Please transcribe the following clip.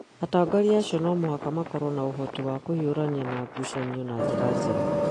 atongoria acio no mũhaka makorũo na ũhoti wa kũhiũrania na ngucanio na njĩra njega